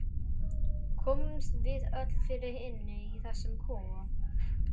Komumst við öll fyrir inni í þessum kofa?